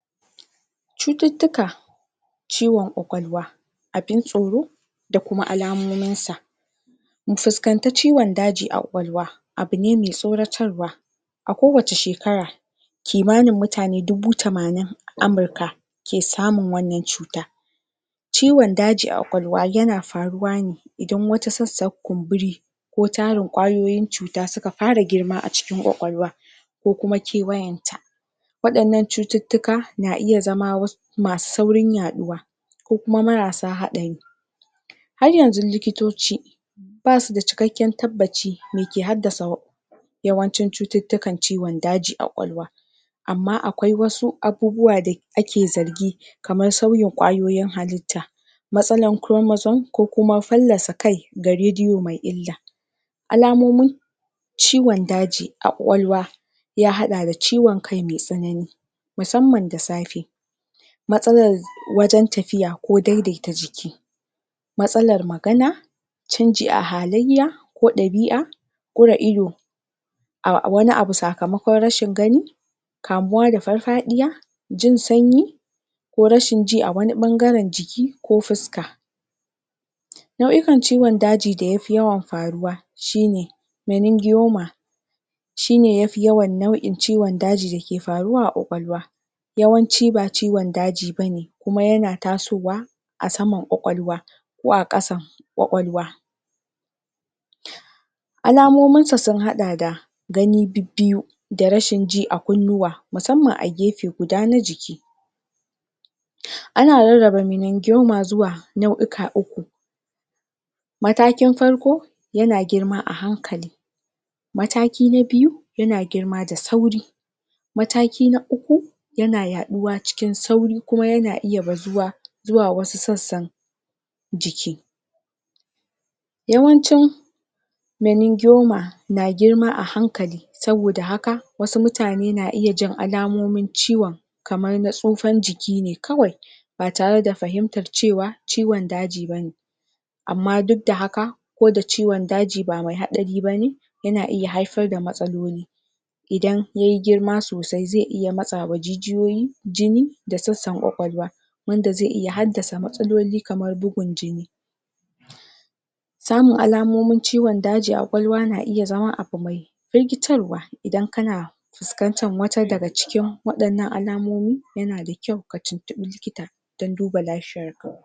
cutittika ciwon kwakwalwa abin tsoro da kuma alamomin sa mu fiskanci ciwon daji a kwakwalwa abune mai tsoratarwa a kowacce shekara kimanin mutane dubu tamanin a amurka ke samun wan nan tsuta ciwon daji a kwakwalwa yana faruwa ne idan wata sassan kunburi ko tarin kwayoyin tsuta suka fara girma a cikin kwakwalwa ko kuma keawayan ta wayan nan cutittika na iya zama masu saurin yaduwa ko kuma masarsa hadari har yanzu likitoci ba suda kikekken tabbaci mai yake haddasa yawan cin cutittikan kiwon daji a kwakwalwa amma akwai wasu abubuwa da ake zargi kaman sauyin kwayoyin halitta matsalan kuromoson ko kuma faslasa kai ga rediyo mai illa alamomin ciwon daji a kwakwalwa ya dada da ciwon kai mai tsanani musamman da safe matsalan wajen tafiya ko daidaita jiki matsalar magana chanji a halaiya ko dabia kura ido wani abu sakamakon rashin gani kamuwa da farfadiya jin sanyi ko rashin ji a wani bangaren jiki ko fuska nauikan ciwon daji da yafi yawan faruwa shi ne meninjiyoma shine yafi yawan cikon daji dake faruwa a kwakwalwa yawan ci ba ciwon daji bane kuma yana tasowa a saman kwakwalwa ko a kasan kwakwalwa alamomin su sun hada da gani bibbiyu da rashin ji a kunnuwa musamman a gefe guda na jiki ana rarraba minindiyoma zuwa nauika uku matakin farko yana girma a hankali mataki na biyu yana girma da sauri mataki na uku yana yaduwa cikin sauri, kuma yana iya bazuwa zuwa wasu sassan jiki yawancin meningiyoma na girma, ahankali sabo da haka wasu mutane na iya jin alamomin ciwon kaman na tsufan jikine kawai ba tare da fahimtan cewa ciwon daji bane amma dudda haka duda ciwon daji ba mai hadari bane yana iya haifar da matsaloli idan yayi girma sosai zai iya matsawa jijiyoyin jini da sassan kwakwalwa wanda zai iya haddasa matsaloli kaman bugun jini samun alamomin ciwon dagi a kwakwalwa na iya zama afamai rikitarwa idan kana fuskantan wata daga cikin wadan nan alamomin yana da kyau ka tintibi likita, dan duba lafiyan ka